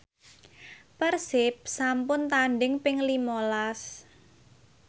Persib sampun tandhing ping lima las